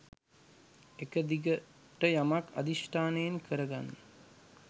එක දිගට යමක් අධිෂ්ඨානයෙන් කරගන්න